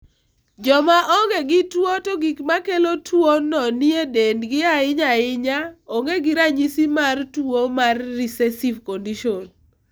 Joma onge gi tuo to gik makelo tuono nitie edendgi ahunya ahinya onge gi ranyisi mar tuwo no mar recessive condition.